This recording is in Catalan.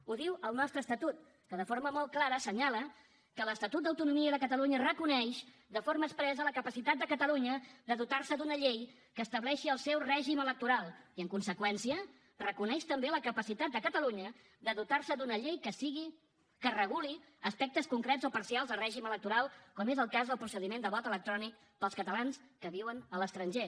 ho diu el nostre estatut que de forma molt clara assenyala que l’estatut d’autonomia de catalunya reconeix de forma expressa la capacitat de catalunya de dotar se d’una llei que estableixi el seu règim electoral i en conseqüència reconeix també la capacitat de catalunya de dotar se d’una llei que reguli aspectes concrets o parcials de règim electoral com és el cas del procediment de vot electrònic per als catalans que viuen a l’estranger